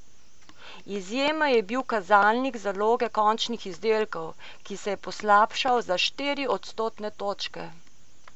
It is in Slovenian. Izjema je bil kazalnik zaloge končnih izdelkov, ki se je poslabšal za štiri odstotne točke.